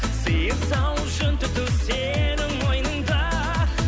сиыр сауып жүн түту сенің мойныңда